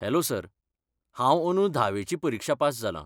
Hello sir, हांव अंदू धावेची परिक्षा पास जालां.